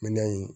Minɛn in